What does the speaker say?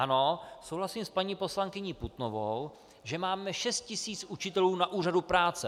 Ano, souhlasím s paní poslankyní Putnovou, že máme 6 000 učitelů na úřadu práce.